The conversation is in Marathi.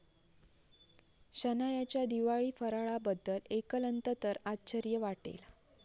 शनायाच्या दिवाळी फराळाबद्दल ऐकलंत तर आश्चर्य वाटेल!